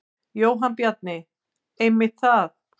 Jóhann Bjarni: Einmitt það.